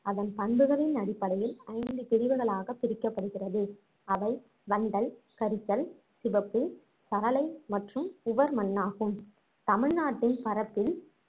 அதன் பண்புகளின் அடிப்படையில் ஐந்து பிரிவுகளாகப் பிரிக்கப்படுகிறது அவை வண்டல், கரிசல், சிவப்பு, சரளை மற்றும் உவர் மண்ணாகும் தமிழ்நாட்டின் பரப்பில்